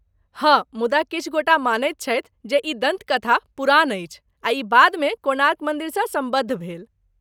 हँ, मुदा किछु गोटा मानैत छथि जे ई दन्तकथा पुरान अछि, आ ई बादमे कोणार्क मन्दिरसँ सम्बद्ध भेल।